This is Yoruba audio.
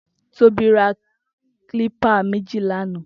Tobi rà klipà méji làná